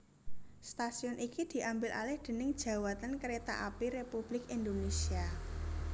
Stasiun iki diambil alih déning Djawatan Kereta Api Republik Indonesia